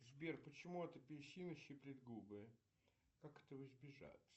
сбер почему от апельсина щиплет губы как этого избежать